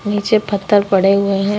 नीचे पत्थर पड़े हुए हैं।